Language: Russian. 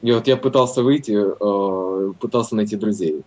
и вот я пытался выйти пытался найти друзей